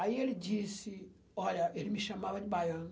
Aí ele disse, olha, ele me chamava de baiano.